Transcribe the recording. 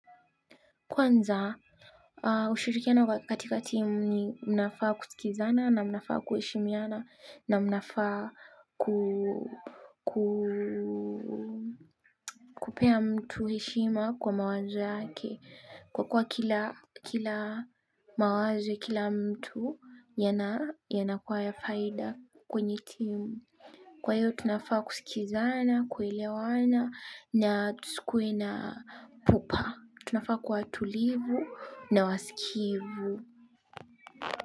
Kwanza, ushirikiano katika timu ni mnafaa kusikizana na mnafaa kuheshimiana na mnafaa kupea mtu heshima kwa mawazo yake kwa kuwa kila mawazo, kila mtu yanakuwa ya faida kwenye timu. Kwa hiyo tunafaa kusikizana, kuelewana na tusikuwe na pupa. Tunafaa kuwa tulivu na wasikivu.